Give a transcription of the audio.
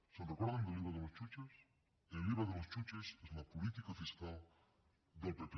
se’n recorden d’el iva de los chuches el iva de los chuches és la política fiscal del pp